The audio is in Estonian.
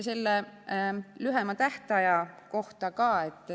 Lühema tähtaja kohta ka.